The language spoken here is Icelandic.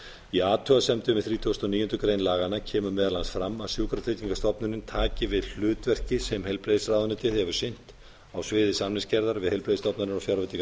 í athugasemdum við þrítugustu og níundu grein laganna kemur meðal annars fram að sjúkratryggingastofnunin taki við hlutverki sem heilbrigðisráðuneytið hefur sinnt á sviði samningsgerðar við heilbrigðisstofnanir og fjárveitingar